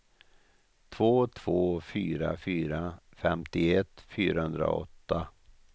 två två fyra fyra femtioett fyrahundraåtta